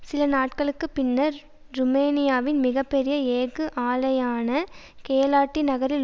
சில நாட்களுக்கு பின்னர் ருமேனியாவின் மிக பெரிய எஃகு ஆலையான கேலாட்டி நகரில்